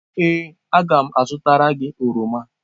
Ee, a ga m azụtara gị oroma.